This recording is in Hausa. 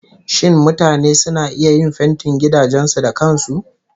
Shin mutane suna iya yin fentin gidajen su da kan su?